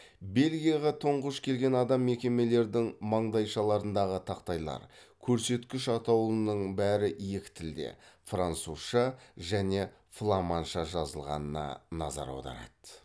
белгияға тұнғыш келген адам мекемелердің маңдайшаларындағы тақтайлар көрсеткіш атаулының бәрі екі тілде французша және фламанша жазылғанына назар аударады